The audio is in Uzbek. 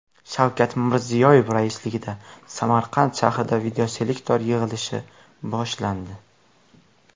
Shavkat Mirziyoyev raisligida Samarqand shahrida videoselektor yig‘ilishi boshlandi.